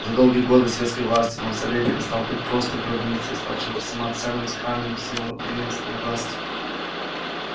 за долгие годы советской власти мавзолей перестал быть просто гробницей и стал чем то самоценным сакральным символом преемственности власти